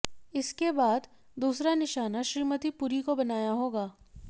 इसके बाद दूसरा निशाना श्रीमती पुरी को बनाया होगा